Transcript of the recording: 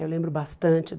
Eu lembro bastante